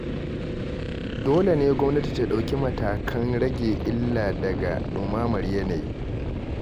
Dole ne gwamnati ta ɗauki matakan rage illa daga ɗumamar yanayi.